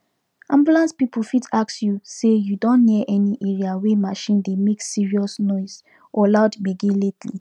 ambulance people fit ask you say you don near any area wey machine dey make serious noise or loud gbege lately